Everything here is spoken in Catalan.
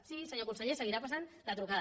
sí senyor conseller seguirà passant la trucada